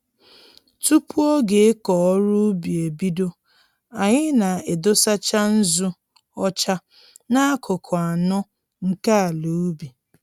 Tupu oge ịkọ ọrụ ugbo ebido, anyị na-edosacha nzụ ọcha n'akụkụ anọ nke ala ubi